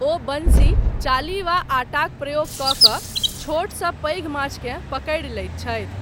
ओ वंशी चाली वा आटाक प्रयोग कऽ कऽ छोटसँ पैघ माछकेँ पकड़ि लैत छथि।